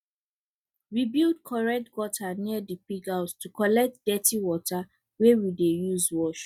we build correct gutter near the pig house to collect dirty water wey we dey use wash